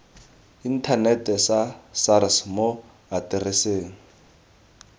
inthanete sa sars mo atereseng